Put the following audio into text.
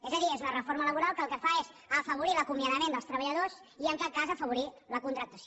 és a dir és una reforma laboral que el que fa és afavorir l’acomiadament dels treballadors i en cap cas afavorir la contractació